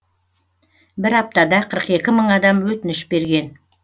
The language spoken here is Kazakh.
бір аптада қырық екі мың адам өтініш берген